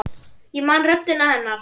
Ég man röddina hennar.